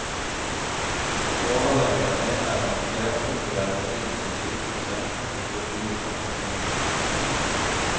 Overlegen mener en flerkulturell meny ved sykehuset betyr mye for pasientene.